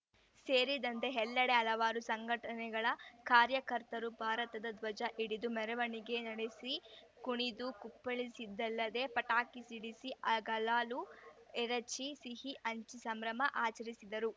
ಸೇರಿದಂತೆ ಎಲ್ಲೆಡೆ ಹಲವಾರು ಸಂಘಟನೆಗಳ ಕಾರ್ಯಕರ್ತರು ಭಾರತದ ಧ್ವಜ ಹಿಡಿದು ಮೆರವಣಿಗೆ ನಡೆಸಿ ಕುಣಿದು ಕುಪ್ಪಳಿಸಿದ್ದಲ್ಲದೇ ಪಟಾಕಿ ಸಿಡಿಸಿ ಗಲಾಲು ಎರಚಿ ಸಿಹಿ ಹಂಚಿ ಸಂಭ್ರಮ ಆಚರಿಸಿದರು